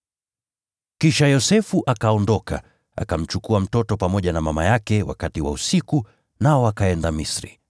Kisha Yosefu akaondoka, akamchukua mtoto pamoja na mama yake wakati wa usiku, nao wakaenda Misri